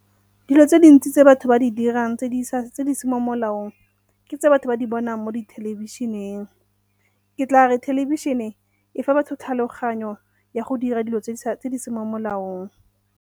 Dilo tse dintsi tse batho ba di dirang tse di seng mo molaong ke tse batho ba di bonang mo dithelebišeneng. Ke tla re thelebišene e fa batho tlhaloganyo ya go dira dilo tse di seng mo molaong.